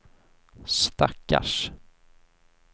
stackars